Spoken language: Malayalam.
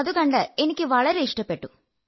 അതു കണ്ട് എനിക്ക് വളരെ ഇഷ്ടപ്പെട്ടു